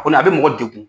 Kɔni a bɛ mɔgɔ degun